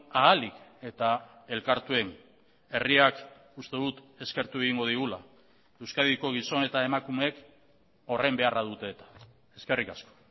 ahalik eta elkartuen herriak uste dut eskertu egingo digula euskadiko gizon eta emakumeek horren beharra dute eta eskerrik asko